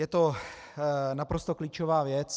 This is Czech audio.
Je to naprosto klíčová věc.